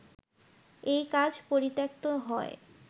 এই কাজ পরিত্যক্ত হয়